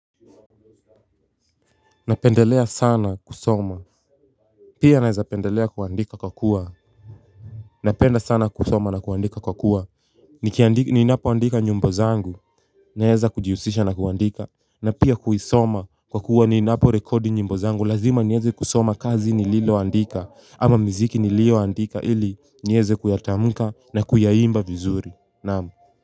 Napendelea sana kusoma. Pia naeza pendelea kuandika kwa kuwa napenda sana kusoma na kuandika kwa kuwa ni napo andika nyumbo zangu. Naeza kujihusisha na kuandika. Na pia kuisoma kwa kuwa ni napo rekodi nyimbo zangu. Lazima nieze kusoma kazi nililo andika. Ama mziki nilio andika ili nieze kuyatamuka na kuya imba vizuri. Namu.